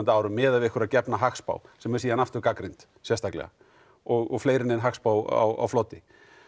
miðað við einhverja gefna hagspá sem er síðan aftur gagnrýnd sérstaklega og fleiri en ein hagspá á floti